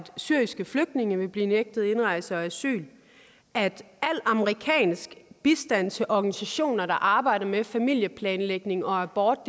syriske flygtninge vil blive nægtet indrejse og asyl at al amerikansk bistand til organisationer der arbejder med familieplanlægning og abort